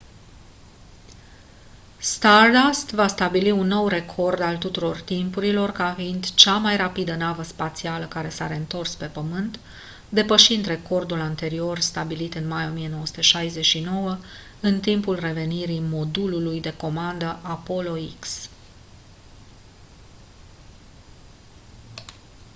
stardust va stabili un nou record al tuturor timpurilor ca fiind cea mai rapidă navă spațială care s-a reîntors pe pământ depășind recordul anterior stabilit în mai 1969 în timpul revenirii modulului de comandă apollo x